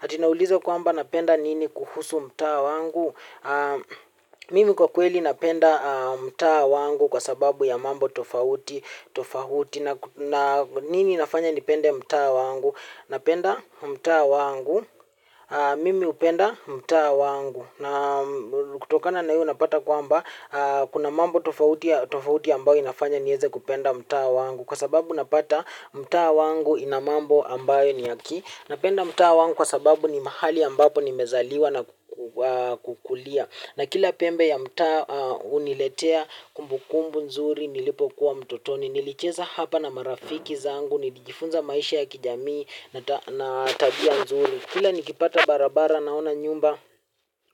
Ati naulizwa kwamba napenda nini kuhusu mtaa wangu. Mimi kwa kweli napenda mtaa wangu kwa sababu ya mambo tofauti. Nini inafanya nipende mtaa wangu. Napenda mta wangu. Mimi hupenda mtaa wangu. Kutokana na hiyo unapata kwamba kuna mambo tofauti ambayo inafanya niweze kupenda mtaa wangu. Kwa sababu napata mtaa wangu ina mambo ambayo ni ya ki. Napenda mtaa wangu kwa sababu ni mahali ambapo nimezaliwa na kukulia. Na kila pembe ya mtaa huniletea kumbukumbu nzuri nilipokuwa mtotoni. Nilicheza hapa na marafiki zangu nikijifunza maisha ya kijamii na tabia nzuri. Kila nikipata barabara naona nyumba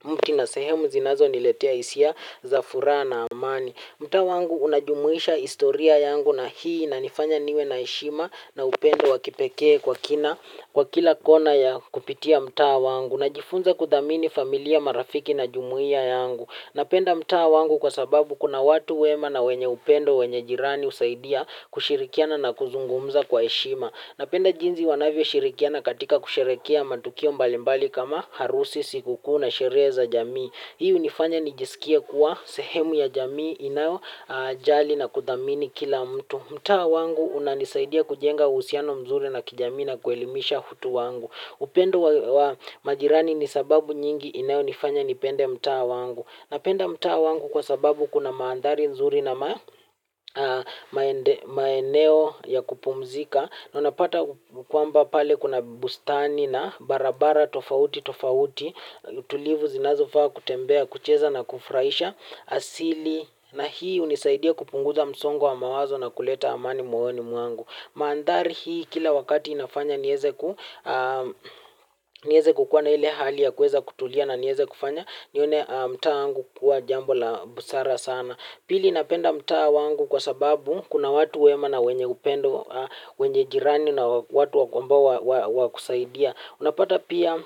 mti na sehemu zinazoniletea hisia za furaha na amani. Mtaa wangu unajumuisha historia yangu na hii inanifanya niwe na heshima na upendo wa kipekee kwa kina kwa kila kona ya kupitia mtaa wangu najifunza kuthamini familia marafiki na jumuia yangu. Napenda mtaa wangu kwa sababu kuna watu wema na wenye upendo, wenye jirani usaidia kushirikiana na kuzungumza kwa eshima. Napenda jinsi wanavyoshirikiana katika kusherehekea matukio mbalimbali kama harusi siku kuu na sherehe za jamii. Hii hunifanya nijisikie kuwa sehemu ya jamii inayo jali na kudhamini kila mtu. Mtaa wangu unanisaidia kujenga uhusiano mzuri na kijamii na kuelimisha utu wangu. Upendo wa majirani ni sababu nyingi inayonifanya nipende mta wangu. Napenda mtaa wangu kwa sababu kuna mandhari nzuri na maeneo ya kupumzika. Na unapata kwamba pale kuna bustani na barabara tofauti tofauti. Tulivu zinazofaa kutembea kucheza na kufurahisha asili. Na hii hunisaidia kupunguza msongo wa mawazo na kuleta amani moyoni mwangu. Mandhari hii kila wakati inafanya nieze kukua na ile hali ya kuweza kutulia na niweze kufanya. Nione mtaa angu kuwa jambo la busara sana. Pili napenda mtaa wangu kwa sababu kuna watu wema na wenye upendo, wenye jirani na watu wa ambao wa kusaidia. Unapata pia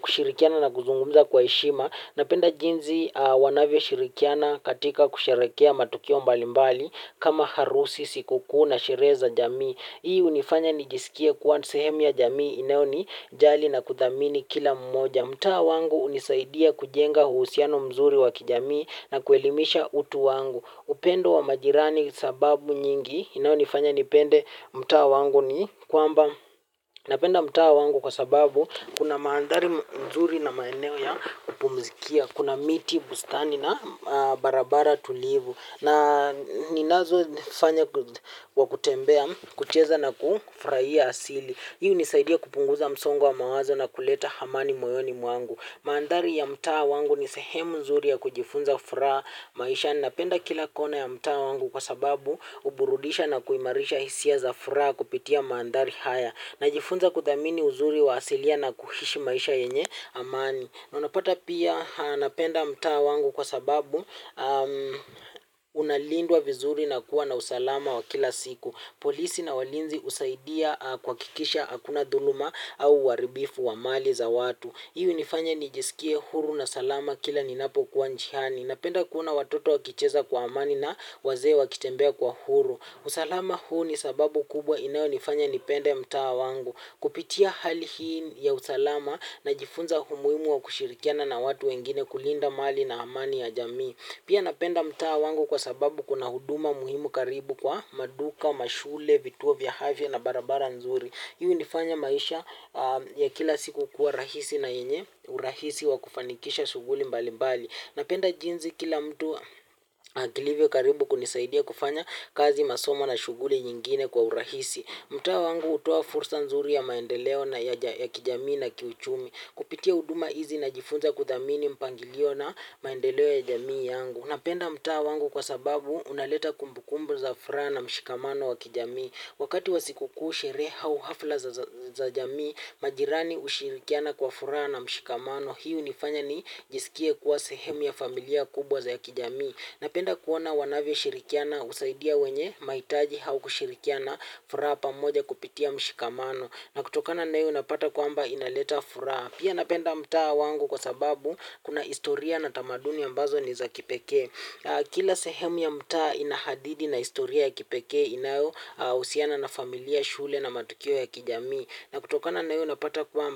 kushirikiana na kuzungumza kwa heshima. Napenda jinsi wanavyoshirikiana katika kusherehekea matukio mbalimbali kama harusi siku kuu na sherehe za jamii. Hii hunifanya nijisikie kuwa sehemu ya jamii inayo nijali na kuthamini kila mmoja. Mtaa wangu hunisaidia kujenga uhusiano mzuri wa kijamii na kuelimisha utu wangu. Upendo wa majirani sababu nyingi inayonifanya nipende mtaa wangu ni kwamba. Napenda mtaa wangu kwa sababu kuna mandhari mzuri na maeneo ya kupumzikia. Kuna miti, bustani na barabara tulivu. Na ninazofanya kwa kutembea kucheza na kufurahia asili. Hii hunisaidia kupunguza msongo wa mawazo na kuleta amani moyoni mwangu. Mandhari ya mtaa wangu ni sehemu nzuri ya kujifunza furaha maisha. Napenda kila kona ya mtaa wangu kwa sababu huburudisha na kuimarisha hisia za furaha kupitia mandhari haya. Najifunza kuthamini uzuri wa asilia na kuishi maisha yenye amani. Na unapata pia napenda mtaa wangu kwa sababu unalindwa vizuri na kuwa na usalama wa kila siku. Polisi na walinzi husaidia kuhakikisha hakuna dhuluma au uharibifu wa mali za watu. Hii hunifanya nijisikie huru na salama kila ninapo kuwa njiani. Napenda kuona watoto wakicheza kwa amani na wazee wakitembea kwa huru. Usalama huu ni sababu kubwa inayonifanya nipende mtaa wangu. Kupitia hali hii ya usalama najifunza umuhimu wa kushirikiana na watu wengine kulinda mali na amani ya jamii. Pia napenda mtaa wangu kwa sababu kuna huduma muhimu karibu kwa maduka, mashule, vituo vya afya na barabara nzuri. Hii hunifanya maisha ya kila siku kuwa rahisi na yenye, urahisi wa kufanikisha shughuli mbali mbali. Napenda jinsi kila mtu alivyo karibu kunisaidia kufanya kazi masomo na shughuli nyingine kwa urahisi. Mtaa wangu hutoa fursa nzuri ya maendeleo ya kijamii na kiuchumi. Kupitia huduma hizi najifunza kuthamini mpangilio na maendeleo ya jamii yangu. Napenda mtaa wangu kwa sababu unaleta kumbukumbu za furaha na mshikamano wa kijamii. Wakati wa sikukuu sherehe au hafla za jamii majirani ushirikiana kwa furaha na mshikamano. Hii hunifanya nijisikie kuwa sehemu ya familia kubwa za ya kijami. Napenda kuona wanavyoshirikiana kusaidia wenye mahitaji au kushirikiana furaha pamoja kupitia mshikamano. Na kutokana na hiyo unapata kwamba inaleta furaha. Pia napenda mtaa wangu kwa sababu kuna historia na tamaduni ya ambazo ni za kipekee. Kila sehemu ya mtaa ina hadithi na historia ya kipekee inayohusiana na familia shule na matukio ya kijami. Na kutokana nayo napata kuamba.